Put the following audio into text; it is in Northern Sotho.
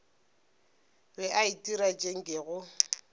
be a itira tše nkego